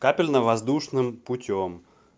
капельно воздушным путём